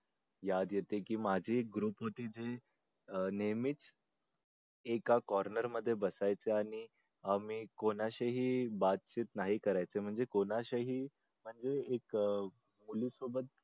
याद येते की माझे ग्रुपमध्ये जे नेहमीच एका corner मध्ये बसायचे आणि आम्ही कोणाशीही नाही करायचे म्हणजे कोणाचाही ते एकमेकांना सोबत